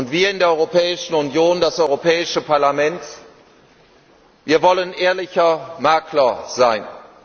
Wir in der Europäischen Union, das Europäische Parlament, wir wollen ehrlicher Makler sein.